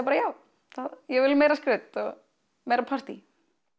bara já ég vil meira skraut og meira partí